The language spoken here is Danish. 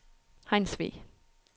Hejnsvig